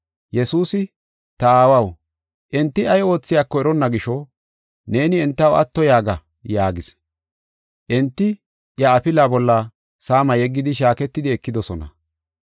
Yesuusi, “Ta aawaw, enti ay oothiyako eronna gisho, neeni entaw atto yaaga” yaagis. Enti iya afilaa bolla saama yeggidi shaaketidi ekidosona.